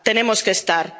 Tenemos que estar.